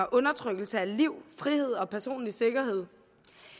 og undertrykkelse af liv frihed og personlig sikkerhed